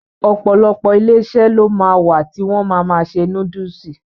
Ọ̀pọ̀lọpọ̀ Iléeṣẹ́ ló ma wà tí wọ́n ma ma ṣe núdúsì